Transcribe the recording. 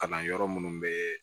Kalanyɔrɔ munnu be